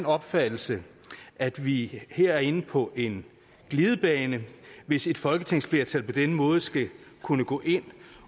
opfattelse at vi her er inde på en glidebane hvis et folketingsflertal på denne måde skal kunne gå ind